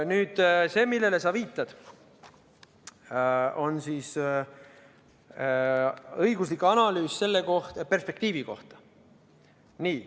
Nüüd see, millele sa viitad, on selle perspektiivi õiguslik analüüs.